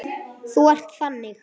Þú ert þannig.